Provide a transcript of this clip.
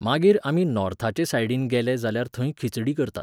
मागीर आमी नोर्थाचे सायडीन गेले जाल्यार थंय खिचडी करतात.